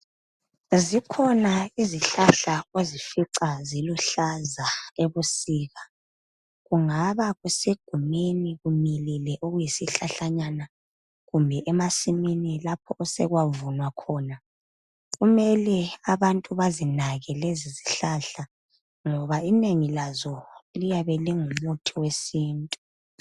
Zikhona izihlahla ozifica ziluhlaza ebusika kungaba kusegumeni kumilile okuyisihlahlanyana kumbe emasimini lapho osekwavunwa khona kumele abantu bazinake lezi zihlahla ngoba inengi lazo liyabe lingumuthi wesintu.